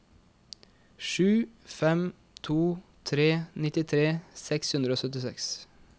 sju fem to tre nittitre seks hundre og syttiseks